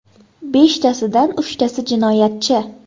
Beshtasidan uchtasi jinoyatchi.